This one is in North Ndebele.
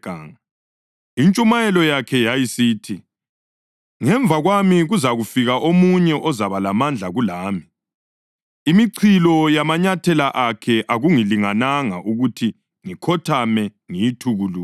Intshumayelo yakhe yayisithi: “Ngemva kwami kuzafika omunye ozaba lamandla kulami, imichilo yamanyathela akhe akungilingananga ukuthi ngikhothame ngiyithukulule.